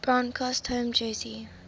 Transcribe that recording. broncos home jersey